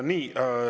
Nii.